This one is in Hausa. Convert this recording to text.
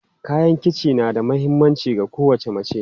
Kayan kici na da mahimmanci ga kowace mace.